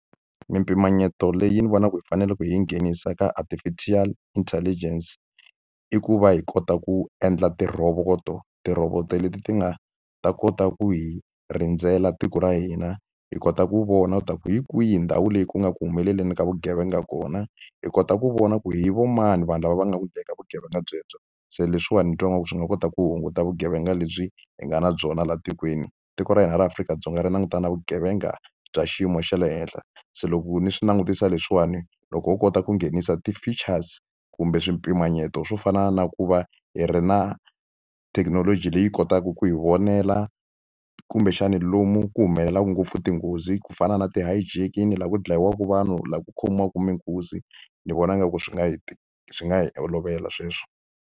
Mimpimanyeto leyi ni vonaka hi faneleke hi yi nghenisa ka artificial intelligence, i ku va hi kota ku endla ti rhovoto. Rhovoto leti ti nga ta kota ku hi rindzela tiko ra hina, hi kota ku vona leswaku hi kwihi ndhawu leyi ku nga ku humeleleni ka vugevenga kona, hi kota ku vona ku i vo mani vanhu lava va nga ku endleni ka vugevenga byebyo. Se leswiwani ni twa ingaku swi nga kota ku hunguta vugevenga lebyi hi nga na byona laha tikweni. Tiko ra hina ra Afrika-Dzonga ri langutana na vugevenga bya xiyimo xa le henhla, se loko ni swi langutisa leswiwani loko wo kota ku nghenisa ti-features kumbe swipimanyeto swo fana na ku va hi ri na thekinoloji leyi kotaka ku hi vonela, kumbexani lomu ku humelelaku ngopfu tinghozi, ku fana na ti-hijacking laha ku dlayiwaka vanhu, laha ku khomiwaka minkunzi, ni vona ingaku swi nga hi swi nga hi olovela sweswo.